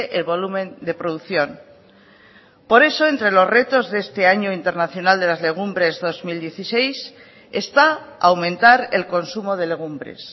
el volumen de producción por eso entre los retos de este año internacional de las legumbres dos mil dieciséis está aumentar el consumo de legumbres